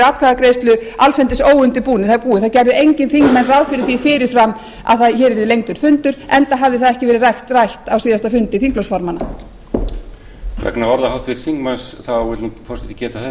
atkvæðagreiðslu allsendis óundirbúið það gerðu engir þingmenn ráð fyrir því fyrir fram að hér yrði lengdur fundur enda hafði það ekki verið rætt á síðasta fundi þingflokksformanna